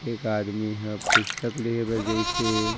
एक आदमी हा पुस्तक लिये बर जईस हे।